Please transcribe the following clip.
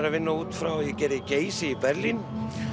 að vinna út frá ég gerði Geysi í Berlín